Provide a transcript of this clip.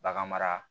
Bagan mara